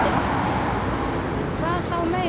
Hvað þá meira.